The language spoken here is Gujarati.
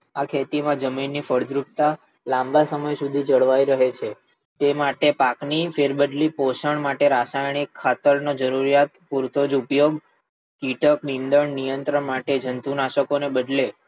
આ ખેતી માં જમીન ની ફળદ્રુપતા લાંબા સમય સુધી જળવાઈ રહે છે. તે માટે પાક ની ફેરબદલી પોષણ માટે રાસાયણિક ખાતર નો જરૂરિયાત પૂરતો જ ઉપયોગ કીટક નીંદણ નિયંત્રણ ને જંતુનાશકો ને બદલે,